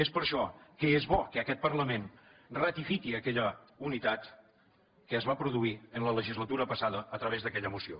és per això que és bo que aquest parlament ratifiqui aquella unitat que es va produir en la legislatura passada a través d’aquella moció